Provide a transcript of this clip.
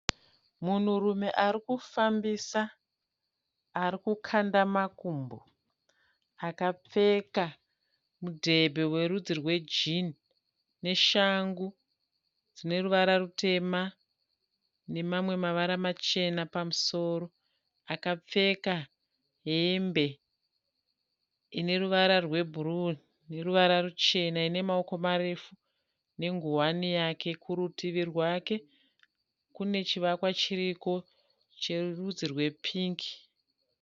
Munhurume ari kufambisa ari kukanda makumbo akapfeka mudhebhe werudzi rwejini neshangu dzine ruvara rutema nemamwe mavara machena pamusoro, akapfeka hembe ine ruvara rwebhuruu noruvara ruchena ine maoko marefu nengowani yake. Kurutivi rwake kune chivakwa chiriko cherudzi rwepingi.